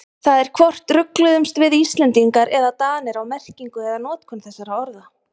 Það er hvort rugluðumst við Íslendingar eða Danir á merkingu eða notkun þessara orða.